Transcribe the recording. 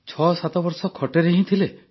୭ ବର୍ଷ ଖଟରେ ହିଁ ଥିଲେ